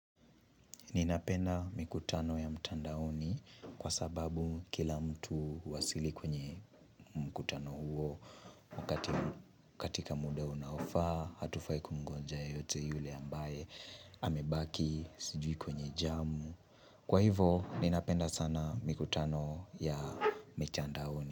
Ninapenda mikutano ya mtandaoni kwa sababu kila mtu huwasili kwenye mkutano huo. Katika muda unaofaa, hatufai kumngoja yule yoyote yule ambaye amebaki kwenye jamu. Kwa hiyo, ninapenda sana mikutano ya mtandaoni.